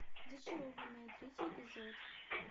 зачарованные третий эпизод